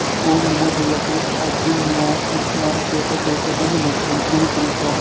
ॐ नमो भगवते आञ्जनेयाय शृंखलां त्रोटय त्रोटय बन्धमोक्षं कुरु कुरु स्वाहा